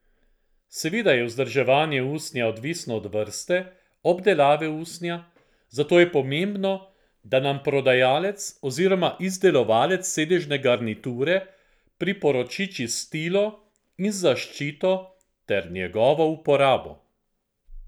Seveda je vzdrževanje usnja odvisno od vrste, obdelave usnja, zato je pomembno, da nam prodajalec oziroma izdelovalec sedežne garniture priporoči čistilo in zaščito ter njegovo uporabo.